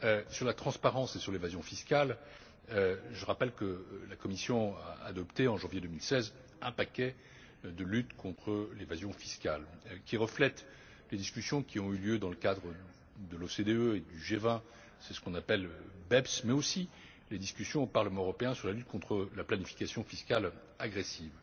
Sur la transparence et sur l'évasion fiscale, je rappelle que la Commission a adopté en janvier 2016 un paquet de lutte contre l'évasion fiscale, qui reflète les discussions qui ont eu lieu dans le cadre de l'OCDE et du G20 c'est ce qu'on appelle le BEPS mais aussi les discussions au Parlement européen sur la lutte contre la planification fiscale agressive.